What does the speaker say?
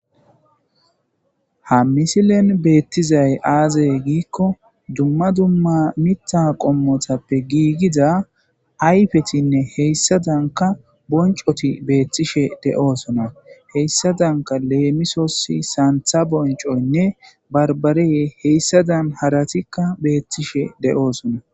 ha misilen beettizay aazey giikko dumma dumma mita qommotappe giigiza ayfetinne heyssa danka boncoti beettishe de7oosona heyssa danka leemisosi saantha boncoynne barbarey heyssa dan haratikka beettishe de7oosona